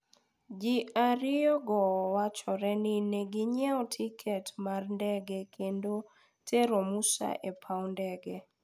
ji ariyo go wachore ni neginyiewo tiket mar ndege kendo tero Musa e paw ndege